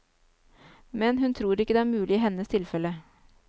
Men hun tror ikke det er mulig i hennes tilfelle.